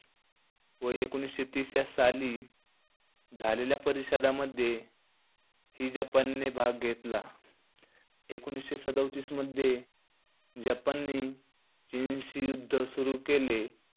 व एकोणीशे तीस या साली झालेल्या परिषदामध्ये ही जपानने भाग घेतला. एकोणीशे सदोतीस मध्ये, जपानने चीनशी युद्ध सुरू केले.